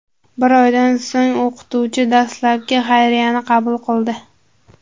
Bir oydan so‘ng o‘qituvchi dastlabkli xayriyani qabul qildi.